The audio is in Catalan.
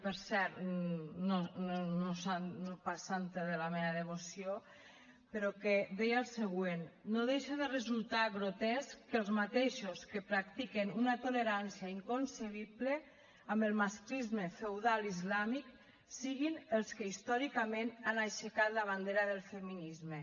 per cert no pas santa de la meva devoció però que deia el següent no deixa de resultar grotesc que els mateixos que practiquen una tolerància inconcebible amb el masclisme feudal islàmic siguin els que històricament han aixecat la bandera del feminisme